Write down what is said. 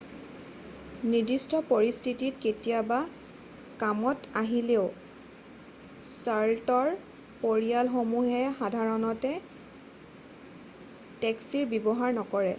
নিৰ্দিষ্ট পৰিস্থিতিত কেতিয়াবা কামত আহিলেও চাৰ্ল'টৰ পৰিয়ালসমূহে সাধাৰণতে টেক্সীৰ ব্যৱহাৰ নকৰে